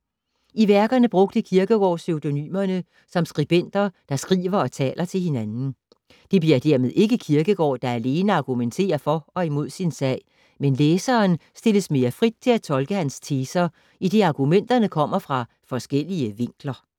I værkerne brugte Kierkegaard pseudonymerne som skribenter, der skriver og taler til hinanden. Det bliver dermed ikke Kierkegaard, der alene argumenterer for og imod sin sag, men læseren stilles mere frit til at tolke hans teser, idet argumenterne kommer fra forskellige vinkler.